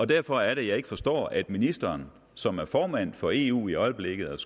derfor er det jeg ikke forstår at ministeren som er formand for eu i øjeblikket og